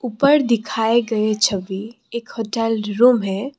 ऊपर दिखाये गए छवि एक होटल डरुव है।